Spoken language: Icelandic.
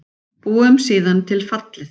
Búum síðan til fallið